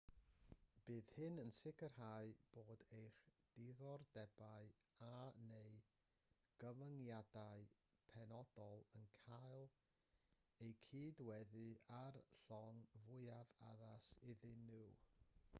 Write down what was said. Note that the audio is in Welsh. bydd hyn yn sicrhau bod eich diddordebau a/neu gyfyngiadau penodol yn cael eu cydweddu â'r llong fwyaf addas iddyn nhw